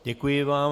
Děkuji vám.